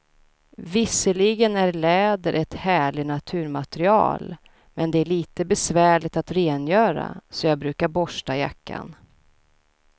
Visserligen är läder ett härligt naturmaterial, men det är lite besvärligt att rengöra, så jag brukar borsta jackan.